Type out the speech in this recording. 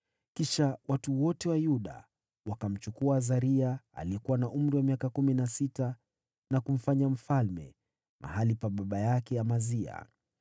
Kisha watu wote wa Yuda wakamchukua Azaria aliyekuwa na umri wa miaka kumi na sita, na kumfanya mfalme mahali pa baba yake Amazia.